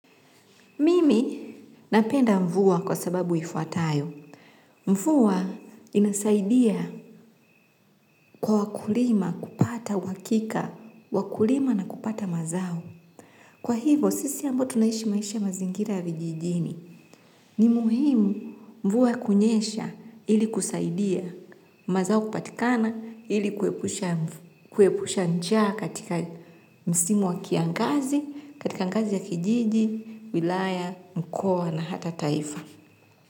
Mimi napenda mvua kwa sababu ifuatayo. Mvua inasaidia kwa wakulima kupata uhakika, wa kulima na kupata mazao. Kwa hivo, sisi ambao tunaishi maisha ya mazingira ya vijijini. Ni muhimu mvua kunyesha ili kusaidia mazao kupatikana ili kuepusha njaa katika msimu wa kiangazi, katika ngazi ya kijiji, wilaya, mkoa na hata taifa.